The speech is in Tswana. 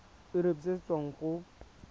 irp se se tswang go